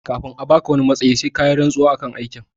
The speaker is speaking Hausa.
Kafin a baka wani matsayi sai kayi rantsuwa akan aikin